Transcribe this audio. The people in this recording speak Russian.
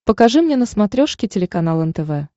покажи мне на смотрешке телеканал нтв